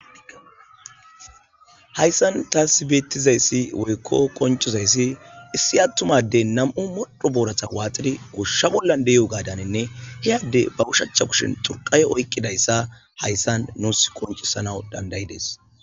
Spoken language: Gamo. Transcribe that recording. Hayssan taasi beettizayssi woykko koncizayssi issi attumadey nam'u modho booratha waaxidi goshsha bolla dey'o gaadaninne heyadde baushacha kushin turqaye oyqqidayssa hayssan nuus qoncisana dandayides.